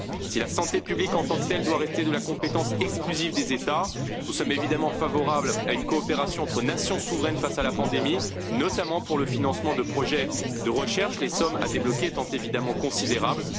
Si la santé publique en tant que telle doit rester de la compétence exclusive des États, nous sommes évidemment favorables à une coopération entre nations souveraines face à la pandémie, notamment pour le financement de projets de recherche, les sommes à débloquer étant évidemment considérables.